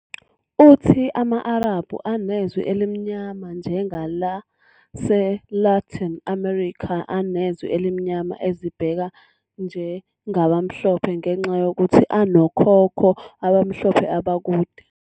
Uthi ama-Arabhu anezwi elimnyama, njengaseLatin America anezwi elimnyama, azibheka njengabamhlophe ngenxa yokuthi anokhokho abamhlophe abakude.